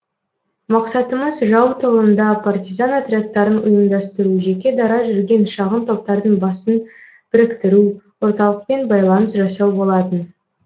мақсатымыз жау тылында партизан отрядтарын ұйымдастыру жеке дара жүрген шағын топтардың басын біріктіру орталықпен байланыс жасау болатын